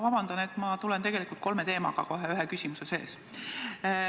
Vabandust, et mul on tegelikult kolm teemat ühe küsimuse sees.